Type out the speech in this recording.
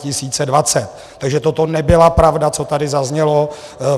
Takže toto nebyla pravda, co tady zaznělo.